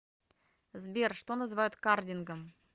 сбер что называют кардингом